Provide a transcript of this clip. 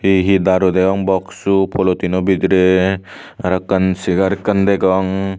he he daru degong box politin o bidire arokkan chair ekkan degong.